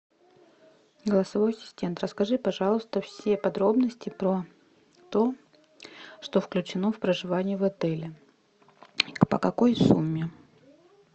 голосовой ассистент расскажи пожалуйста все подробности про то что включено в проживание в отеле по какой сумме